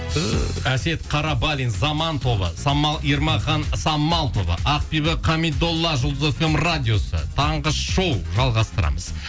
әсет қарабалин заман тобы самал ермахан самал тобы ақбибі хамидолла жұлдыз фм радиосы таңғы шоу жалғастырамыз